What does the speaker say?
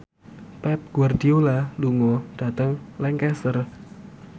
Pep Guardiola lunga dhateng Lancaster